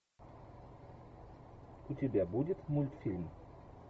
у тебя будет мультфильм